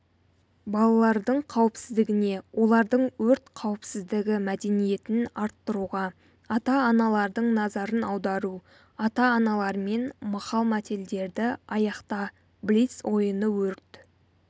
балалардың қауіпсіздігіне олардың өрт қауіпсіздігі мәдениетін арттыруға ата-аналардың назарын аудару ата-аналармен мақал-мәтелдерді аяқта блиц-ойыны өрт